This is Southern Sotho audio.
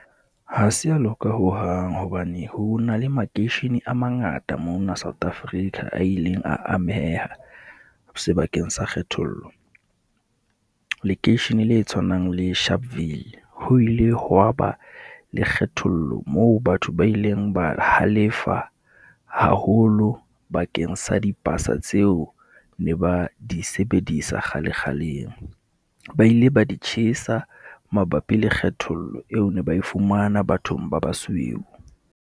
Ha se a loka hohang hobane ho na le makeishene a mangata mona South Africa, a ileng a ameha sebakeng sa kgethollo. Lekeishene le tshwanang le Sharpeville, ho ile hwa ba le kgethollo moo batho ba ileng ba halefa haholo bakeng sa dipasa tseo ne ba di sebedisa kgale kgaleng. Ba ile ba di tjhesa mabapi le kgethollo eo ne ba e fumana bathong ba basweu.